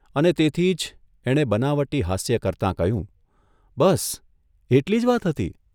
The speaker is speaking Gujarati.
અને તેથી જ એણે બનાવટી હાસ્ય કરતાં કહ્યું, ' બસ, એટલી જ વાત હતી?